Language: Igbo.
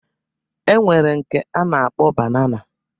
E nwere nke a na-akpọ banana